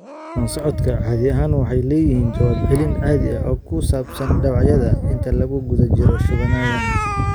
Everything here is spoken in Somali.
Bukaan-socodka caadi ahaan waxay leeyihiin jawaab celin caadi ah oo ku saabsan dhaawacyada inta lagu guda jiro shubannadan.